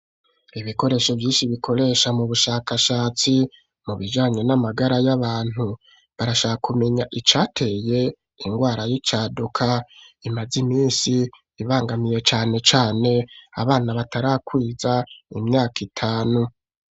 Ibikoresho vyinshi bikoresha mu bushakashatsi mu bijanye n'amagara y'abantu, barashaka kumenya icateye ingwara y'icaduka imaz'iminsi ibangamiye cane cane abana batarakwiza imyaka itanu.